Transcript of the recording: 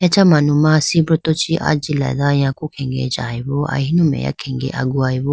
Acha manuma sibruto chi ajilado yaku khege jayibo ahinu meya khenge agugayi bo.